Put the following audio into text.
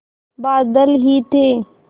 बादल ही थे